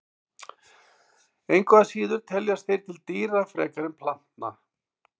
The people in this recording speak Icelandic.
Engu að síður teljast þeir til dýra frekar en plantna.